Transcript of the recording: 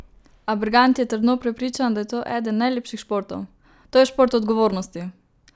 A Bergant je trdno prepričan, da je to eden najlepših športov: "To je šport odgovornosti.